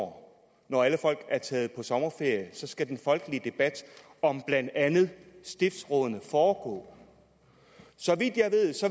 år når alle folk er taget på sommerferie skal den folkelige debat om blandt andet stiftsrådene foregå så vidt jeg